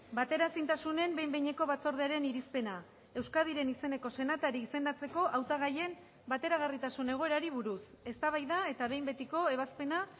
bateraezintasunen behin behineko batzordearen irizpena euskadiren izeneko senatari izendatzeko hautagaien bateragarritasun egoerari buruz eztabaida eta behin betiko ebazpena